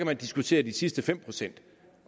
man diskutere de sidste fem pct